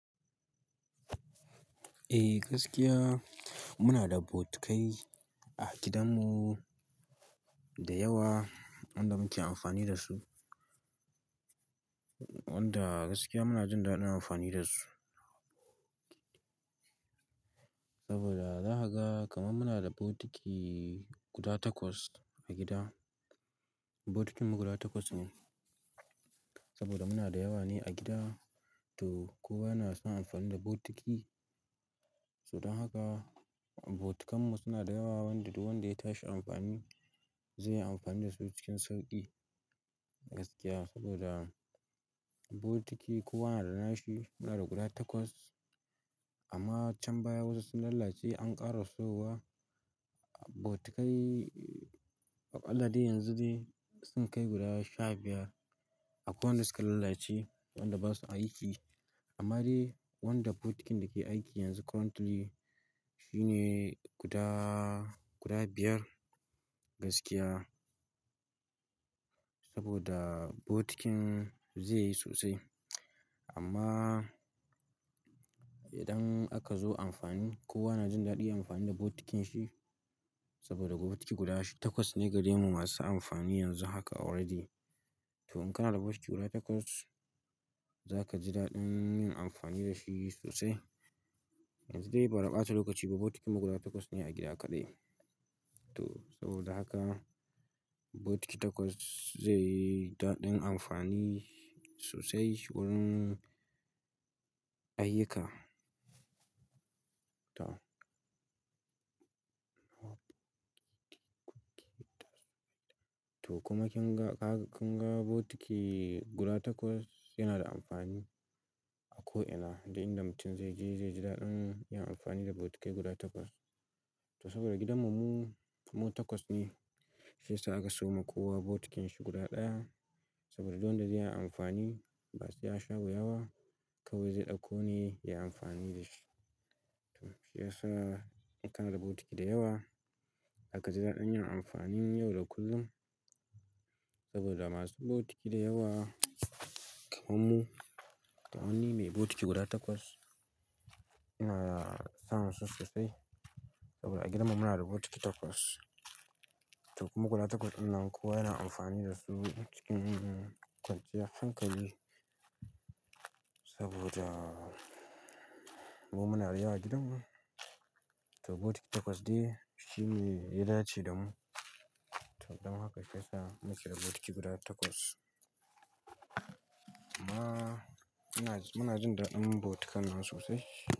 Eh gaskiya muna da bokitai a gidanmu da yawa wanda muke amfani da su. Wanda gaskiya muna jin daɗin amfani da su. Saboda zakaga kamar muna da botiki guda takwas a gida. Botikinmu guda takwas ne saboda muna da yawa ne a gida, to kowa yana son amfani da botiki. Don haka botikanmu suna da yawa wanda duk wanda ya tashi amfani zai yi amfani da su cikin sauƙi gaskiya saboda botiki kowa na da nashi. Muna da guda takwas amma can baya wasu sun lalace an ƙara siyo wa botikai. Aƙalla dai yanzu dai sun kai guda sha biyar akwai wanda suka lalace wanda basu aiki. Amma dai wanda botikin da ke aiki yanzu currently shi ne guda, guda biyar gaskiya. Saboda botikin zai yi sosai amma idan aka zo amfani kowa na jin daɗin amfani da botikin shi saboda botiki guda takwas ne gare mu masu amfani yanzu haka already. To in kana da bokiti guda takwas za ka ji daɗin yin amfani da shi sosai. Yanzu dai bada ɓata lokaci ba, botikinmu guda takwas ne a gida kaɗai. To saboda haka bokiti takwas zai yi daɗin amfani sosai wurin ayyuka. To. To kuma kinga kaga kunga botiki guda takwas yanada amfani a ko ina dai duk inda mutum zai je zai ji daɗin yin amfani da botikai guda takwas. To saboda gidan mu mu takwas ne shiyasa ake siyo ma kowa botikin shi guda ɗaya saboda duk wanda zaiyi amfani basai yasha wuya ba kawai zai ɗauko ne yayi amfani dashi to shiyasa in kana da botiki da yawa za ka ji daɗin yin amfani yau da kullum saboda masu botiki da yawa kamar mu, kamar ni mai botiki guda takwas ina son su sosai saboda a gidanmu muna da bokiti takwas. To kuma guda takwas nan kowa yana amfani da su cikin kwanciyar hankali saboda mu muna da yawa a gidanmu. To botiki takwas dai shine yadace da mu to don haka shiyasa muke da botiki guda takwas. Amma muna, muna jin daɗin bokitanmu sosai.